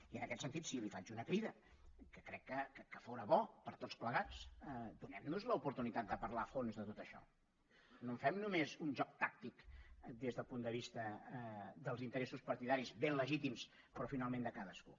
i en aquest sentit sí li faig una crida que crec que fóra bo per a tots plegats donem nos l’oportunitat de parlar a fons de tot això no en fem només un joc tàctic des del punt de vista dels interessos partidaris ben legítims però finalment de cadascú